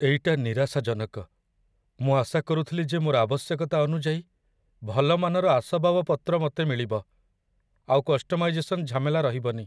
ଏଇଟା ନିରାଶାଜନକ, ମୁଁ ଆଶା କରୁଥିଲି ଯେ ମୋର ଆବଶ୍ୟକତା ଅନୁଯାୟୀ ଭଲ ମାନର ଆସବାବପତ୍ର ମୋତେ ମିଳିବ, ଆଉ କଷ୍ଟମାଇଜେସନ ଝାମେଲା ରହିବନି।